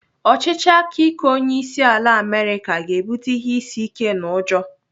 Ọchịchị aka ike onyeisiala Amerịka ga-ebute ihe isi ike na ụjọ.